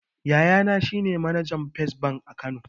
Yayana shine manajan fes bank a kano